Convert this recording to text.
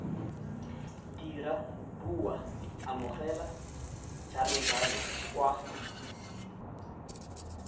dira bua amogela jalojalo kwa